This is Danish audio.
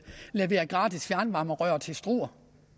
levere gratis fjernvarmerør til struer